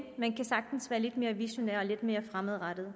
man kan sagtens være lidt mere visionær og lidt mere fremadrettet